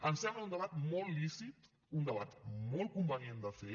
ens sembla un debat molt lícit un debat molt convenient de fer